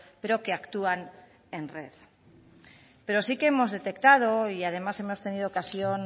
pero que actúan en red pero sí que hemos detectado y además hemos tenido ocasión